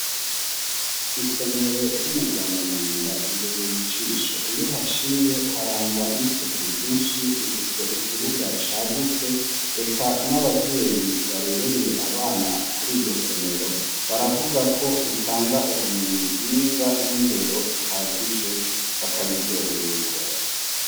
Isomero ry'umugongomanga ribereye ijisho iyo haciye harangwa n'isuku ryinshi rifise ikibuga cagutse eka n'abavyeyi barereye abana kuri iryo somero baravuga ko ritanga ubumenyi bwiza n'indero ihagije bakabiryoherererwa .